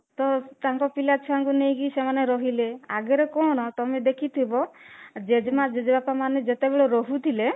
ତ ତାଙ୍କ ପିଲାଛୁଆଙ୍କୁ ନେଇକି ସେମାନେ ରହିଲେ ଆଗରେ କଣ ତମେ ଦେଖିଥିବ ଜେଜେମା ଜେଜେବାପା ମାନେ ଯେତେବେଳେ ରହୁଥିଲେ